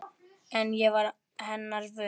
En ég varð hennar vör.